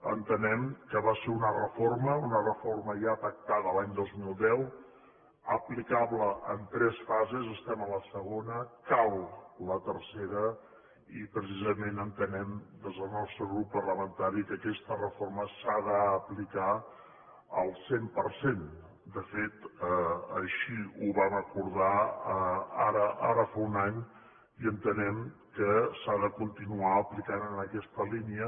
entenem que va ser una reforma una reforma ja pactada a l’any dos mil deu aplicable en tres fases estem a la segona cal la tercera i precisament entenem des del nostre grup parlamentari que aquesta reforma s’ha d’aplicar al cent per cent de fet així ho vam acordar ara fa un any i entenem que s’ha de continuar aplicant en aquesta línia